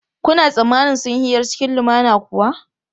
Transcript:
Kuna tsammanin sun yi hira cikin lumana kuwa?